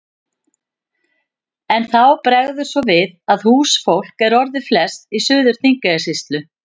En þá bregður svo við að húsfólk er orðið flest í Suður-Þingeyjarsýslu.